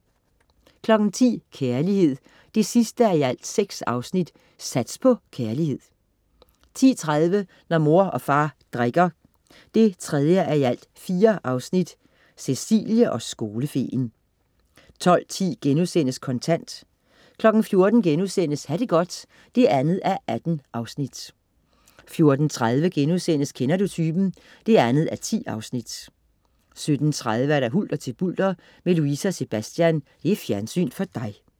10.00 Kærlighed 6:6. Sats på kærlighed 10.30 Når mor og far drikker. 3:4 Cecilie og skolefeen 12.10 Kontant* 14.00 Ha' det godt. 2:18* 14.30 Kender du typen 2:10* 17.30 Hulter til bulter med Louise og Sebastian. Fjernsyn for dig